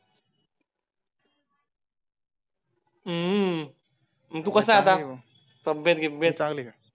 हम्म तू कस आहे आता तब्येत गिब्येत